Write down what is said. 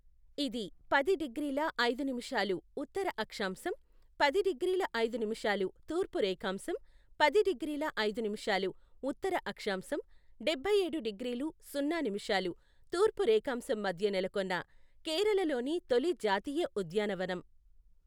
ఇది పది డిగ్రీల ఐదు నిముషాలు ఉత్తర అక్షాంశం, పది డిగ్రీల ఐదు నిముషాలు తూర్పు రేఖాంశం, పది డిగ్రీల ఐదు నిముషాలు ఉత్తర అక్షాంశం, డబ్బైఏడు డిగ్రీలు సున్నా నిముషాలు తూర్పు రేఖాంశం మధ్య నెలకొన్న కేరళలోని తొలి జాతీయ ఉద్యానవనం .